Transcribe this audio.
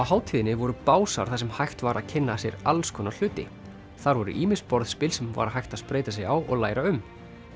hátíðinni voru básar þar sem hægt var að kynna sér alls konar hluti þar voru ýmis borðspil sem var hægt að spreyta sig á og læra um